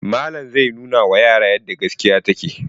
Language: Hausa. Malam zai nunawa yara yadda gaskiya take.